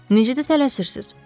Necə də tələsirsiz.